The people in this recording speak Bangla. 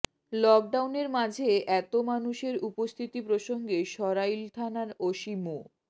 লকডাউনের মাঝে এত মানুষের উপস্থিতি প্রসঙ্গে সরাইল থানার ওসি মো